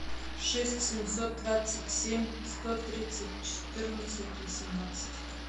шесть семьсот двадцать семь сто тридцать четырнадцать восемнадцать